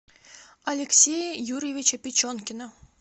алексея юрьевича печенкина